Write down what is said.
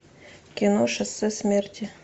кино шоссе смерти